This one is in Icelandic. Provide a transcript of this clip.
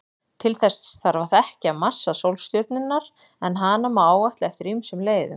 Til þess þarf að þekkja massa sólstjörnunnar, en hann má áætla eftir ýmsum leiðum.